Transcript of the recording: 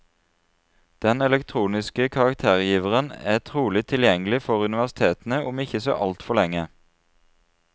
Den elektroniske karaktergiveren er trolig tilgjengelig for universitetene om ikke så altfor lenge.